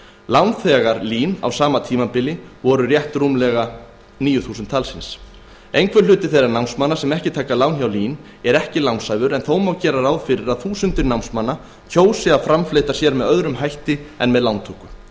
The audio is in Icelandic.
lánþegar lín á sama tímabili voru rétt rúmlega níu þúsund talsins einhver hluti þeirra námsmanna sem ekki taka lán hjá lín er ekki lánshæfur en þó má gera ráð fyrir að þúsundir námsmanna kjósi að framfleyta sér með öðrum hætti en með lántöku